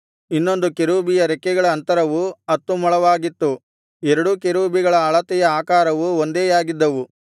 ಇನ್ನೊಂದು ಕೆರೂಬಿಯ ರೆಕ್ಕೆಗಳ ಅಂತರವು ಹತ್ತು ಮೊಳವಾಗಿತ್ತು ಎರಡೂ ಕೆರೂಬಿಗಳ ಅಳತೆಯೂ ಆಕಾರವೂ ಒಂದೇಯಾಗಿದ್ದವು